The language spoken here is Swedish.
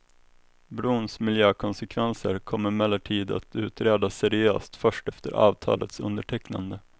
Brons miljökonsekvenser kom emellertid att utredas seriöst först efter avtalets undertecknande.